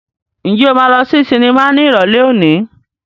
Ǹjẹ́ o máa lọ sí sinimá ní Ìrọ̀lẹ́ òní?